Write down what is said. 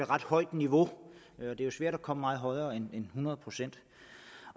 ret højt niveau det er jo svært at komme meget højere end hundrede procent